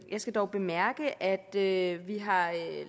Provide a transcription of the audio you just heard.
skal dog bemærke at vi har